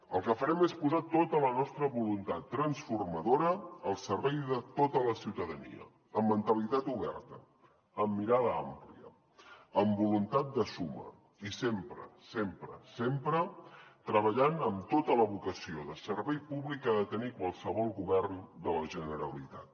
el que farem és posar tota la nostra voluntat transformadora al servei de tota la ciutadania amb mentalitat oberta amb mirada àmplia amb voluntat de suma i sempre sempre sempre treballant amb tota la vocació de servei públic que ha de tenir qualsevol govern de la generalitat